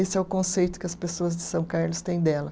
Esse é o conceito que as pessoas de São Carlos têm dela.